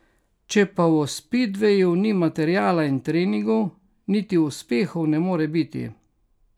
Če pa v spidveju ni materiala in treningov, niti uspehov ne more biti.